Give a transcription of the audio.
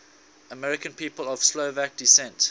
american people of slovak descent